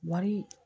Wari